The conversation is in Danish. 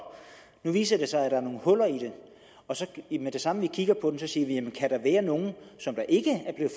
nu viser det sig at der er nogle huller i den og så siger vi jamen kan der være nogle som ikke er